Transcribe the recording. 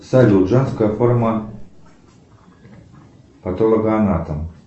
салют женская форма патологоанатом